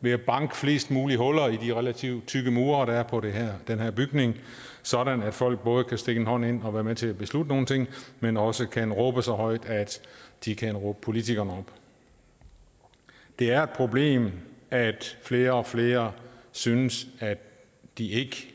ved at banke flest mulige huller i de relativt tykke mure der er på den her den her bygning sådan at folk både kan stikke en hånd ind og være med til at beslutte nogle ting men også kan råbe så højt at de kan råbe politikerne op det er problem at flere og flere synes at de ikke